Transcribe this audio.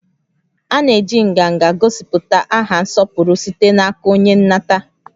A na-eji nganga gosipụta aha nsọpụrụ site n'aka onye nnata